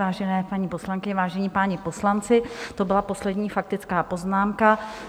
Vážené paní poslankyně, vážení páni poslanci, to byla poslední faktická poznámka.